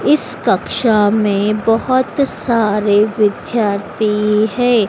इस कक्षा में बहोत सारे विद्यार्थी है।